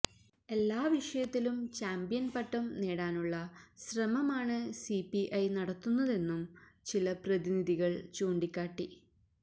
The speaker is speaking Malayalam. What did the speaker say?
എല്ലാ വിഷയത്തിലും ചാമ്പ്യന് പട്ടം നേടാനുള്ള ശ്രമമാണ് സി പി ഐ നടത്തുന്നതെന്നും ചില പ്രതിനിധികള് ചൂണ്ടിക്കാട്ടി